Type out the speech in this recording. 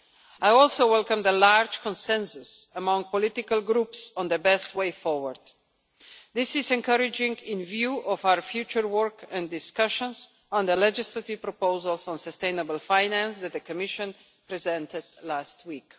I also welcome the large consensus among political groups on the best way forward. This is encouraging in view of our future work and discussions on the legislative proposals on sustainable finance that the Commission presented last week.